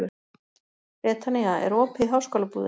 Betanía, er opið í Háskólabúðinni?